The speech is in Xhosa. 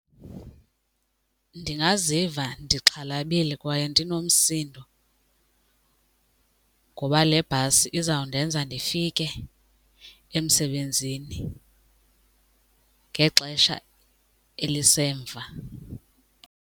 Ndingaziva ndixhalabile kwaye ndinomsindo ngoba le bhasi izawundenza ndifike emsebenzini ngexesha elisemva.